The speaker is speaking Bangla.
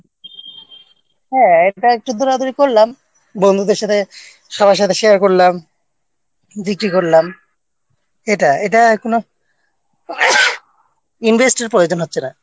হ্যাঁ এটা একটু দৌড়াদৌড়ি করলাম বন্ধুদের সাথে সবার সাথে Share করলাম বিক্রি করলাম এটা এটায় কোনও Investment-র প্রয়োজন হচ্ছে না